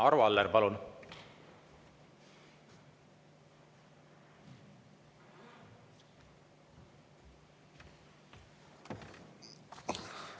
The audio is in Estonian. Arvo Aller, palun!